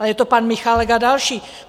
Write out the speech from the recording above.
Ale je to pan Michálek a další.